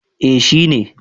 Eh shi ne.